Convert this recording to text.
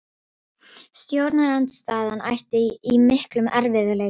Stjórnarandstaðan ætti í miklum erfiðleikum